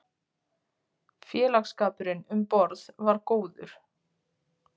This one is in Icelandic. Félagsskapurinn um borð var góður.